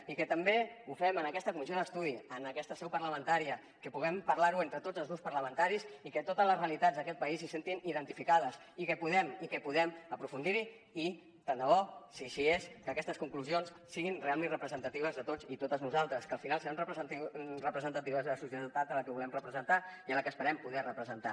i que també ho fem en aquesta comissió d’estudi en aquesta seu parlamentària que puguem parlar ne entre tots els grups parlamentaris i que totes les realitats d’aquest país s’hi sentin identificades i que puguem aprofundir hi i tant de bo si així és que aquestes conclusions siguin realment representatives de tots i totes nosaltres que al final seran representatives de la societat a la que volem representar i a la que esperem poder representar